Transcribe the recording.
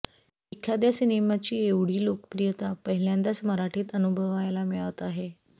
एखाद्या सिनेमाची एवढी लोकप्रियता पहिल्यांदाच मराठीत अनुभवायला मिळत आहे